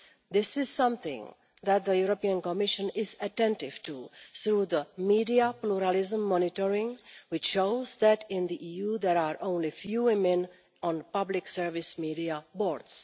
This is something that the European Commission is attentive to through media pluralism monitoring, which shows that in the EU there are only a few women on public service media boards.